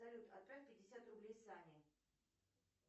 салют отправь пятьдесят рублей сане